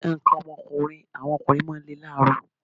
Nǹkan ọmọkùnrin àwọn ọkùnrin máa ń lè lálààrọ̀